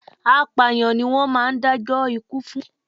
Apàyàǹ ni wón máa ń dá jó ikú fún.